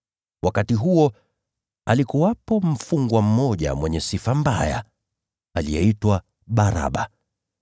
Wakati huo alikuwepo mfungwa mmoja mwenye sifa mbaya, aliyeitwa Baraba.